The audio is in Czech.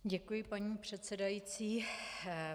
Děkuji, paní předsedající.